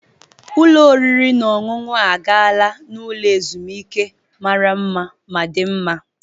Ụlọ oriri na ọṅụṅụ a gaala n'ụlọ ezumike mara mma ma dị mma.